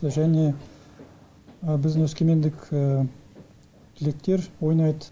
және біздің өскемендік түлектер ойнайды